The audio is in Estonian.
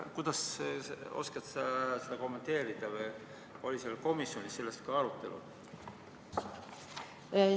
Kuidas sa oskad seda kommenteerida või oli komisjonis sellest arutelu?